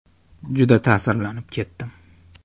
Juda ta’sirlanib ketdim.